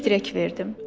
Ürək dirək verdim.